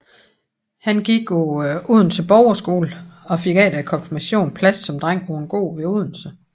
Han gik på Odense Borgerskole og fik efter konfirmationen plads som dreng på en gård ved Odense